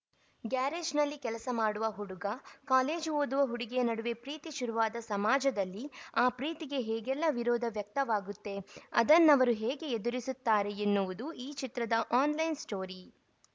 ಗ್ಯಾರೇಜ್‌ನಲ್ಲಿ ಕೆಲಸ ಮಾಡುವ ಹುಡುಗ ಕಾಲೇಜು ಓದುವ ಹುಡುಗಿಯ ನಡುವೆ ಪ್ರೀತಿ ಶುರುವಾದ ಸಮಾಜದಲ್ಲಿ ಆ ಪ್ರೀತಿಗೆ ಹೇಗೆಲ್ಲ ವಿರೋಧ ವ್ಯಕ್ತವಾಗುತ್ತೆ ಅದನ್ನವರು ಹೇಗೆ ಎದುರಿಸುತ್ತಾರೆ ಎನ್ನುವುದು ಈ ಚಿತ್ರದ ಆನ್‌ಲೈನ್‌ ಸ್ಟೋರಿ